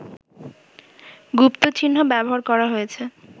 গুপ্তচিহ্ন ব্যবহার করা হয়েছে